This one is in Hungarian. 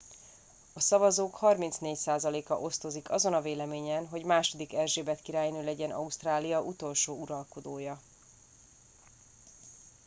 a szavazók 34 százaléka osztozik azon a véleményen hogy ii erzsébet királynő legyen ausztrália utolsó uralkodója